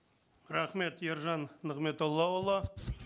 рахмет ержан нығметоллаұлы